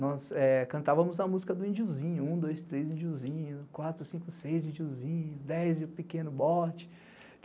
Nós cantávamos a música do Indiozinho, um, dois, três Indiozinho, quatro, cinco, seis Indiozinho, dez e o Pequeno Bote.